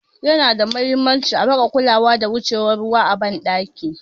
Yana da huhimmaci a rika kulawa da wucewar ruwa a ban ɗaki